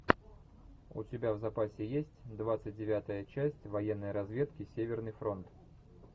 у тебя в запасе есть двадцать девятая часть военной разведки северный фронт